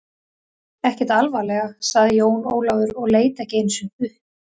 Ekkert alvarlega, sagði Jón Ólafur og leit ekki einu sinni upp.